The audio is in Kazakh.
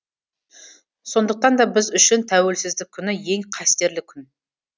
сондықтан да біз үшін тәуелсіздік күні ең қастерлі күн